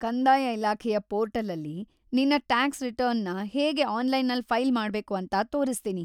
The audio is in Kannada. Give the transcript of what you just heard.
ಕಂದಾಯ ಇಲಾಖೆಯ ಪೋರ್ಟಲಲ್ಲಿ ನಿನ್ನ ಟಾಕ್ಸ್‌ ರಿಟರ್ನ್‌ನ ಹೇಗೆ ಆನ್ಲೈನಲ್ಲಿ ಫೈಲ್‌ ಮಾಡ್ಬೇಕು ಅಂತ ತೋರಿಸ್ತೀನಿ.